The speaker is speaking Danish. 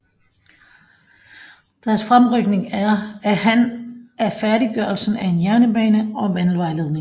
Deres fremrykning af han af færdiggørelsen af en jernbane og vandledning